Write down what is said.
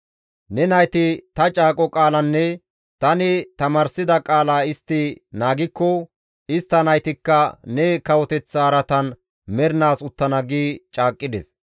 Ne nayti ta caaqo qaalanne tani tamaarsida qaala istti naagikko istta naytikka ne kawoteththa araatan mernaas uttana» gi caaqqides.